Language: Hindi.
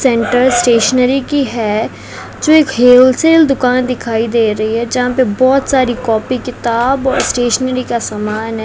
सेंट्रल स्टेशनरी की है जो एक होलसेल दुकान दिखाई दे रही है जहां पर बोहोत सारी कॉपी किताब स्टेशनरी का समान है।